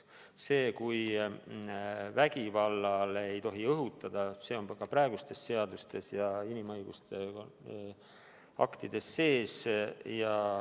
See, et vägivallale ei tohi õhutada, on ka praegustes seadustes ja inimõiguste aktides sees.